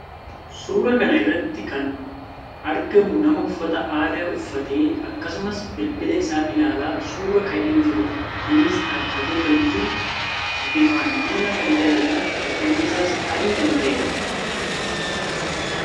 Suuraa kana irratti kan argamu nama uffata aadaa uffatee akkasumas bilbila isaa ilaalaa suuraa ka'ee jiruu dh. Innis dhaabbatee kan jiruu ,bifaan diimaa kan ta'ee fi uffanni isaas adii kan ta'ee dha.